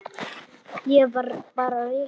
Ég var bara rekinn.